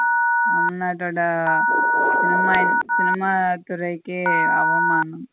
cinema துறைக்கே அவமானம்.